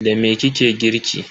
Da me kike girki?